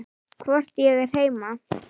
Hvort ég er heima?